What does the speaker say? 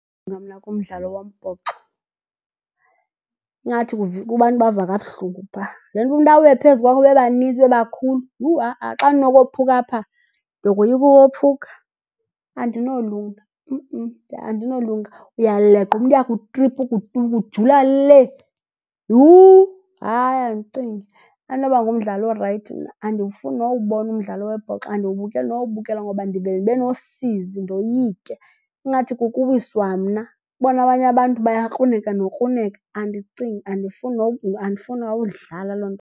kumdlalo wombhoxo. Ingathi ubantu bava kabuhlungu phaa. Le nto umntu awe phezu kwakho bebaninzi bebakhulu, yhu ha-a. Xa ndinokophuka apha? Ndokoyika ukophuka. Andinolunga andinolunga. Uyaleqwa umntu uyakutripa ukujula lee. Yhu! Hayi, andicingi. Andinoba ngumdlali orayithi mna, andiwufuni nowubona umdlalo wombhoxo. Andiwubukeli nowubukela ngoba ndivele ndibe nosizi ndoyike. Ingathi kuwiswa mna. Ubone abanye abantu bayakruneka nokruneka. Andicingi andifuni nowudlala loo nto.